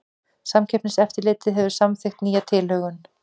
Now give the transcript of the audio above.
Samkeppniseftirlitið hefur samþykkt nýja tilhögun